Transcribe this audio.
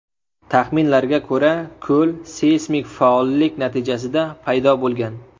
Taxminlarga ko‘ra, ko‘l seysmik faollik natijasida paydo bo‘lgan.